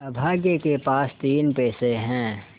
अभागे के पास तीन पैसे है